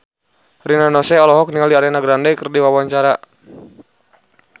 Rina Nose olohok ningali Ariana Grande keur diwawancara